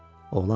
Oğlan dedi.